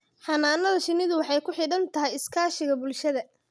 Xannaanada shinnidu waxay ku xidhan tahay iskaashiga bulshada.